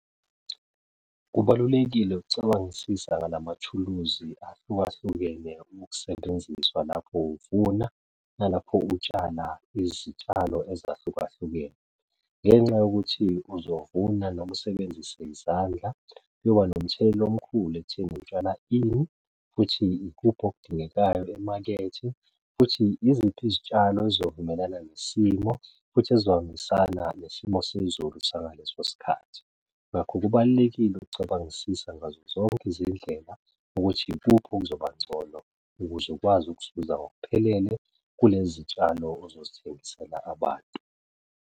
Kubalulekile ukucabangisisa ngalamathuluzi ahlukahlukene ukusebenziswa lapho uvuna nalapho utshala izitshalo ezahlukahlukene. Ngenxa yokuthi uzovuna noma usebenzise izandla kuyoba nomthelelo omkhulu ekutheni ukutshala ini, futhi ikuphi okudingekayo emakethe, futhi iziphi izitshalo ezovumelana nesimo, futhi ezohambisa nesimo sezulu sangaleso sikhathi. Ngakho, kubalulekile ukucabangisisa ngazo zonke izindlela ukuthi ikuphi okuzobangcono, ukuze ukwazi ukuzuza ngokuphelele kule zitshalo ozozithengisela abantu.